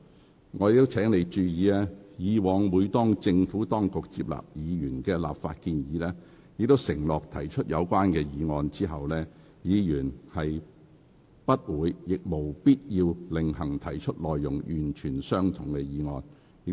許議員，我亦請你注意，以往當政府接納議員的立法建議並承諾提出有關議案後，議員不會亦無必要另行提出內容完全相同的議案。